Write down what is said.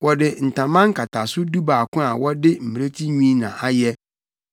Wɔde ntama nkataso dubaako a wɔde mmirekyi nwi na ayɛ